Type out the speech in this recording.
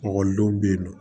Ekɔlidenw bɛ yen nɔ